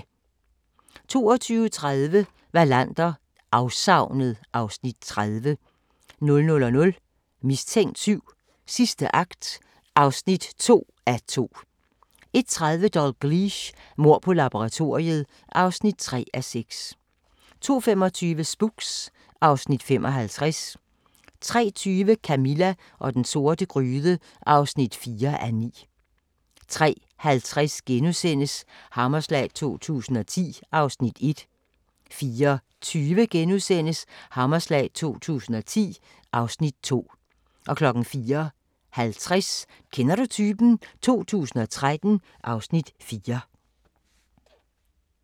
22:30: Wallander: Afsavnet (Afs. 30) 00:00: Mistænkt 7: Sidste akt (2:2) 01:30: Dalgliesh: Mord på laboratoriet (3:6) 02:25: Spooks (Afs. 55) 03:20: Camilla og den sorte gryde (4:9) 03:50: Hammerslag 2010 (Afs. 1)* 04:20: Hammerslag 2010 (Afs. 2)* 04:50: Kender du typen? 2013 (Afs. 4)*